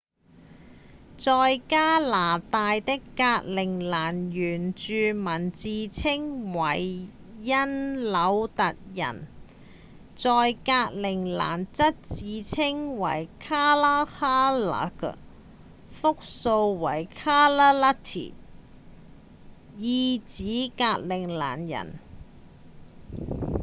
在加拿大的格陵蘭原住民自稱為因紐特人在格陵蘭則自稱為「kalaalleq」複數為 kalaallit 意指「格陵蘭人」